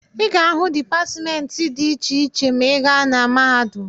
Ị ga-ahụ dipatịmentị dị iche iche ma ị gaa na mahadum.